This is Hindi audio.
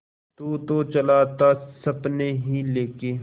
तू तो चला था सपने ही लेके